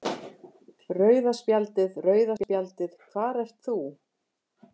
Rauða spjaldið, rauða spjaldið hvar ert þú?